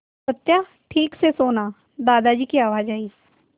सत्या ठीक से सोना दादाजी की आवाज़ आई